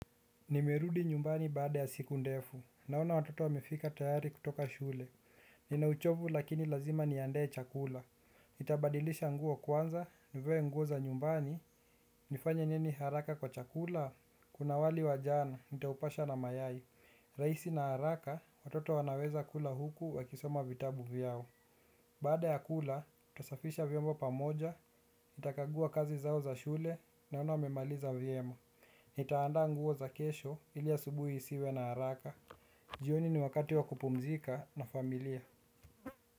Nimerudi nyumba baada ya siku ndefu. Naona watoto wamefika tayari kutoka shule. Ninauchovu lakini lazima niandae chakula. Nitabadilisha nguo kwanza, nivae nguo za nyumbani, nifanye nini haraka kwa chakula. Kuna wali wa jana nitaupasha na mayai. Rahisi na haraka, watoto wanaweza kula huku wakisoma vitabu vyao. Baada ya kula, nitasafisha vyombo pamoja, nitakaguwa kazi zao za shule naona wamemaliza vyema. Nitaanda nguo za kesho ili asubuhi isiwe na haraka. Jioni ni wakati wa kupumzika na familia.